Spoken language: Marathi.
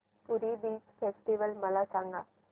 पुरी बीच फेस्टिवल मला सांग